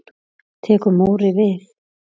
Tekur Móri við?